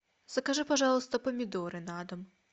закажи пожалуйста помидоры на дом